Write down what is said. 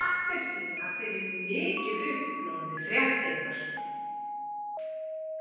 Eva appelsína fer í mikið uppnám við fréttirnar.